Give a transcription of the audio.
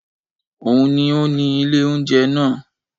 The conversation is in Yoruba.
Òun ni ó ni ilé oúnjẹ náà